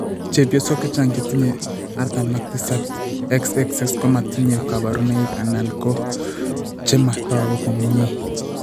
Chepyosok chechang' chetinye 47 XXX ko matinye kabarunoik anan ko che matoku komnyie.